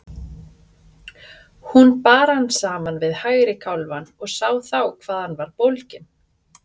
Hún bar hann saman við hægri kálfann og sá þá hvað hann var bólginn.